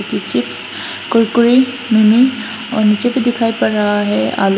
Chips Kurkure mini और नीचे भी दिखाई पड़ रहा है आलू।